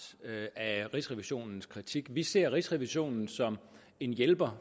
af rigsrevisionens kritik vi ser rigsrevisionen som en hjælper